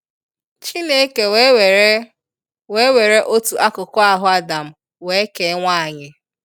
Chineke wee were wee were otu akụkụ ahụ Adam wee kee nwanyi.